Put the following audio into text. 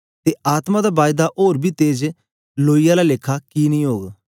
ते आत्मा दा बायदा ओर बी तेज लोई आला कि नेई ओग